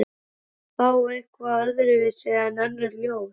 Var það þá eitthvað öðruvísi en önnur ljós?